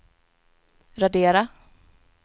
radera